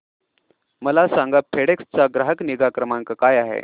मला सांगा फेडेक्स चा ग्राहक निगा क्रमांक काय आहे